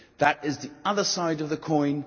That is the other side of the coin.